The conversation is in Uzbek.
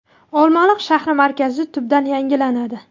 Olmaliq shahri markazi tubdan yangilanadi.